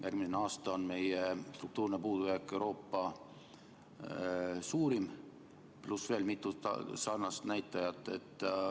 Järgmisel aastal on meie eelarve struktuurne puudujääk Euroopa suurim, pluss on veel mitu sarnast näitajat.